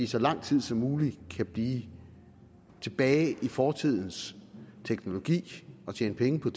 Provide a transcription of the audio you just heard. så lang tid som muligt kan blive tilbage i fortidens teknologi og tjene penge på